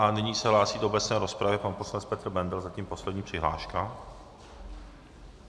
A nyní se hlásí do obecné rozpravy pan poslanec Petr Bendl, zatím poslední přihláška.